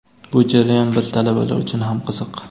Bu jarayon biz – talabalar uchun ham qiziq.